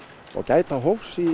og gæta hófs í